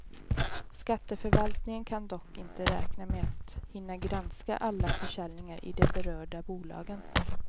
Skatteförvaltningen kan dock inte räkna med att hinna granska alla försäljningar i de berörda bolagen.